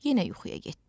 Yenə yuxuya getdi.